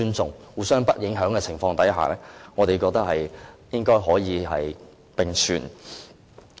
在互相不影響的情況下，我們覺得兩者應該可以並存。